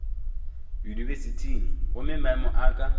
yunibesithing gomme maemo a ka